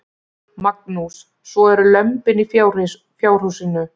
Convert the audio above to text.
Magnús: Svo eru lömbin í fjárhúsinu?